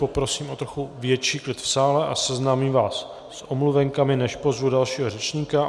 Poprosím o trochu větší klid v sále a seznámím vás s omluvenkami, než pozvu dalšího řečníka.